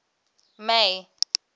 may